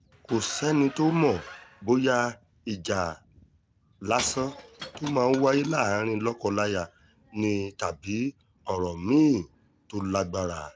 kò sẹ́ni tó mọ̀ bóyá ìjà lásán tó máa ń wáyé láàrin lọ́kọ-láya ni tàbí ọ̀rọ̀ mí-ín tó lágbára